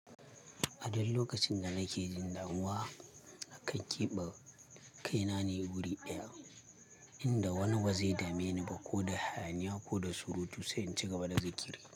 A duk lokacin da nake jin damuwa, na kan keɓe kaina ne wuri ɗaya inda wani ba zai dame ni ba ko da hayaniya ko da surutu sai in ci gaba da zaki.